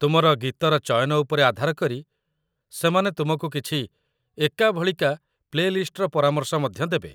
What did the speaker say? ତୁମର ଗୀତର ଚୟନ ଉପରେ ଆଧାର କରି ସେମାନେ ତୁମକୁ କିଛି ଏକାଭଳିକା ପ୍ଲେ ଲିଷ୍ଟର ପରାମର୍ଶ ମଧ୍ୟ ଦେବେ।